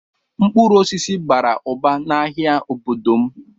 Mkpụrụ osisi bara ụba n'ahịa n'obodo m.